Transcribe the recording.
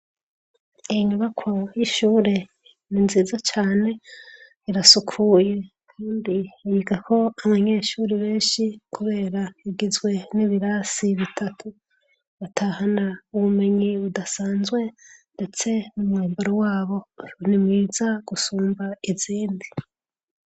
Inyubakwa y'ishure ni nziza cane, irasukuye kandi yigako abanyeshure benshi kubera igezweho. Ibirasi bitatu batahana ubumenyi budasanzwe ndetse n'umwambaro wabo ni mwiza gusumba izindi.